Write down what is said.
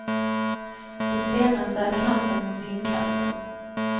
Det senaste är kampen mot vindkraften.